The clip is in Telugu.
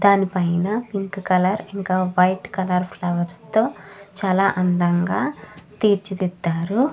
దాని పైన పింక్ కలర్స్ ఇంకా వైట్ కలర్ ఫ్లవర్స్ తో చాల అందంగ తీర్చిదిద్దరు.